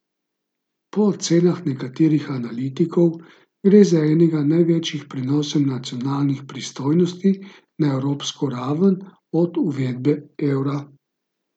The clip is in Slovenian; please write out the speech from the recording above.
Po ocenah nekaterih analitikov gre za enega največjih prenosov nacionalnih pristojnosti na evropsko raven od uvedbe evra.